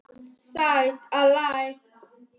Hér var aðallega svarað fyrri hluta spurningarinnar.